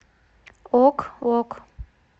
ок ок